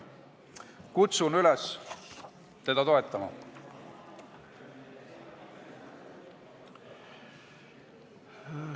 Kutsun üles teda toetama!